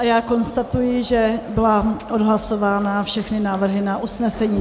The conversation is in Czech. A já konstatuji, že byly odhlasovány všechny návrhy na usnesení.